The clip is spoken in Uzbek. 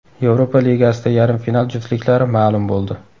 Yevropa Ligasida yarim final juftliklari ma’lum bo‘ldi.